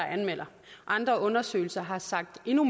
anmelder andre undersøgelser har sagt endnu